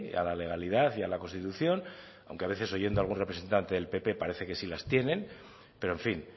a la legalidad y a la constitución aunque a veces oyendo a algún representante del pp parece que sí las tienen pero en fin